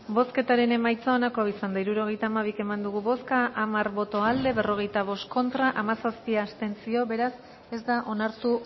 bozketaren emaitza onako izan da hirurogeita hamabi eman dugu bozka hamar boto aldekoa berrogeita bost contra hamazazpi abstentzio beraz ez da onartu